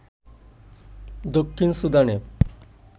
দক্ষিণ সুদানে